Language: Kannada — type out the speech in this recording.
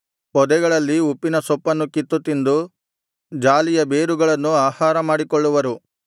ಪೊದೆಗಳಲ್ಲಿ ಉಪ್ಪಿನ ಸೊಪ್ಪನ್ನು ಕಿತ್ತು ತಿಂದು ಜಾಲಿಯ ಬೇರುಗಳನ್ನೂ ಆಹಾರಮಾಡಿಕೊಳ್ಳುವರು